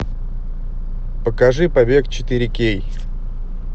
покажи побег четыре кей